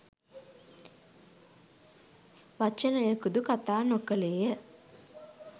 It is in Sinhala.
වචනයකුදු කතා නොකළේය.